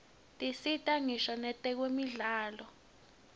tisita ngisho nakwetemidlalo